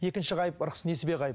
екінші ғайып ырыс несібе ғайып